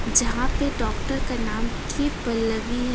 जहां पे डॉक्टर का नाम के पल्लवी है।